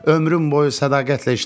Ömrüm boyu sədaqətlə işləmişəm.